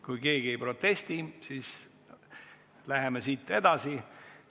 Kui keegi ei protesti, siis läheme edasi.